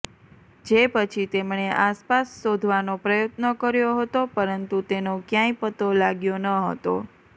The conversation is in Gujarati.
જે પછી તેમણે આસપાસ શોધવાનો પ્રયત્ન કર્યો હતો પરંતુ તેનો ક્યાંય પત્તો લાગ્યો ન હતો